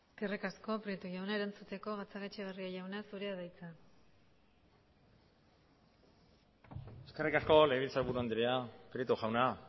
eskerrik asko prieto jauna erantzuteko gatzagaetxebarria jauna zurea da hitza eskerrik asko legebiltzarburu andrea prieto jauna